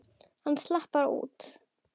Hann slapp bara út.